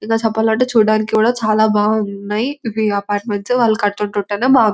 ఇంకా చెప్పాలంటే చూడడానికి చాలా బావునై ఇవి అపార్ట్మెంట్స్ వాళ్ళు కటుంటుంటేనే బావ్ --.